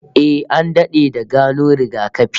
Eh, an dade da gano rigakafi